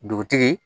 Dugutigi